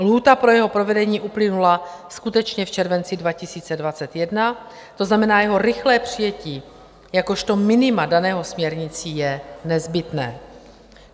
Lhůta pro jeho provedení uplynula skutečně v červenci 2021, To znamená, jeho rychlé přijetí jakožto minima daného směrnicí je nezbytné.